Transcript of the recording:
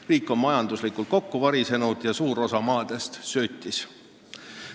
Riik on majanduslikult kokku varisenud ja suur osa maadest söötis.